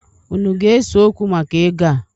Unu ga-eseokwu maka ego a?